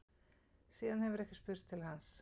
Síðan hefur ekki spurst til hans